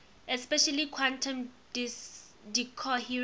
especially quantum decoherence